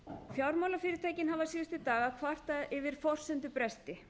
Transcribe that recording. fjármálafyrirtækin hafa síðustu daga kvartað yfir forsendubresti